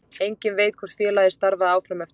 Enginn veit hvort félagið starfaði áfram eftir það.